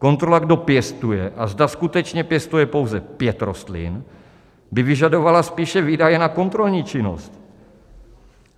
Kontrola, kdo pěstuje a zda skutečně pěstuje pouze pět rostlin, by vyžadovala spíše výdaje na kontrolní činnost.